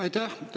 Aitäh!